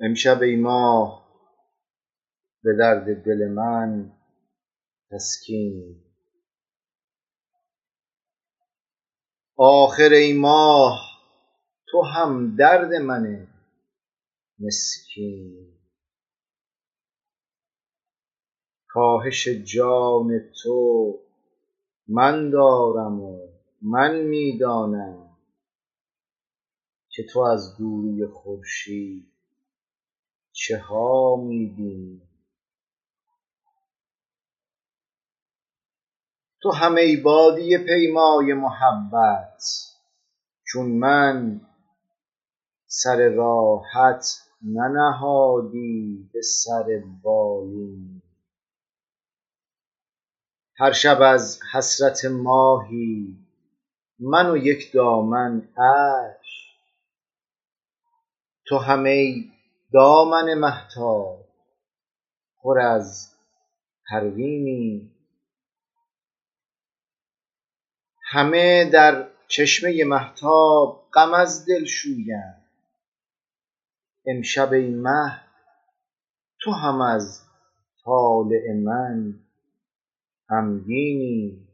امشب ای ماه به درد دل من تسکینی آخر ای ماه تو همدرد من مسکینی کاهش جان تو من دارم و من می دانم که تو از دوری خورشید چه ها می بینی تو هم ای بادیه پیمای محبت چون من سر راحت ننهادی به سر بالینی هر شب از حسرت ماهی من و یک دامن اشک تو هم ای دامن مهتاب پر از پروینی همه در چشمه مهتاب غم از دل شویند امشب ای مه تو هم از طالع من غمگینی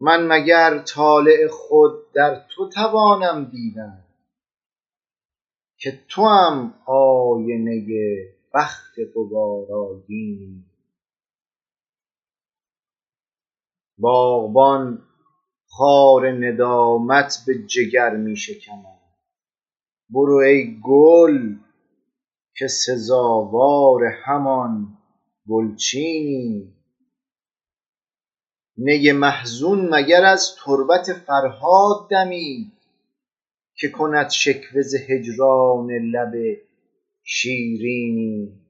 من مگر طالع خود در تو توانم دیدن که توام آینه بخت غبارآگینی باغبان خار ندامت به جگر می شکند برو ای گل که سزاوار همان گلچینی نی محزون مگر از تربت فرهاد دمید که کند شکوه ز هجران لب شیرینی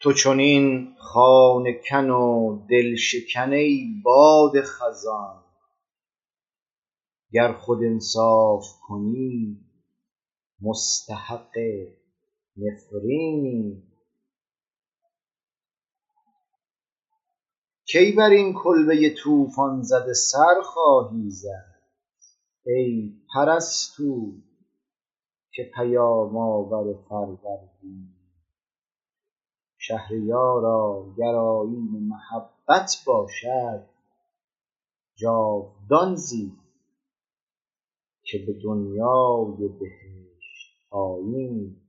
تو چنین خانه کن و دلشکن ای باد خزان گر خود انصاف کنی مستحق نفرینی کی بر این کلبه طوفان زده سر خواهی زد ای پرستو که پیام آور فروردینی شهریارا اگر آیین محبت باشد جاودان زی که به دنیای بهشت آیینی